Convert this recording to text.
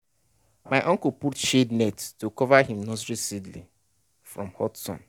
my uncle put shade net to cover him nursery seedling from hot sun.